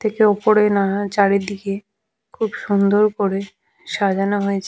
থেকে উপরে নানা চারিদিকে খুব সুন্দর করে সাজানো হয়েছ--